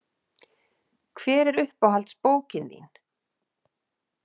Hver er uppáhalds bókin þín?